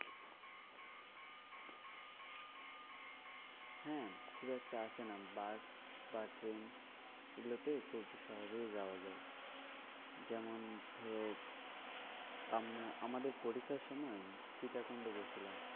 হ্যাঁ খুব একটা আসেনা বাস বা ট্রেন এগুলোতে খুব সহজেই যাওয়া যায়। যেমন ধরো আমরা আমাদের পরীক্ষার সময় সীতাকুন্ড গেছিলাম।